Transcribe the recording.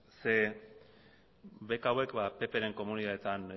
zeren beka hauek ppren komunitateetan